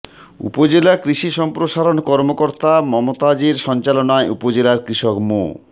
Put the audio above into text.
উপজেলা কৃষি সম্প্রসারণ কর্মকর্তা মমতাজ এর সঞ্চালনায় উপজেলার কৃষক মো